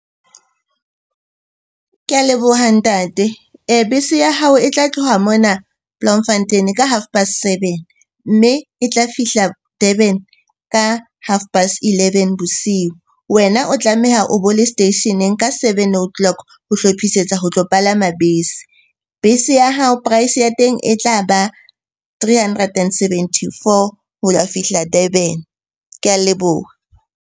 Ke a leboha ntate. Bese ya hao e tla tloha mona Bloemfontein ka half past seven, mme e tla fihla Durban ka half past eleven bosiu. Wena o tlameha o bo le seteisheneng ka seven o' clock ho hlophisetsa ho tlo palama bese. Bese ya hao price ya teng e tla ba three hundred and seventy-four ho ya fihla Durban. Ke a leboha.